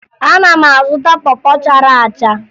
Ana m azụta pọ pọ chara acha